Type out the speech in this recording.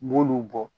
N b'olu bɔ